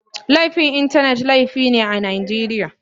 Laifin Intanet laifi ne a Najeriya.